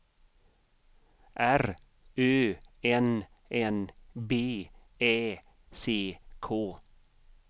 R Ö N N B Ä C K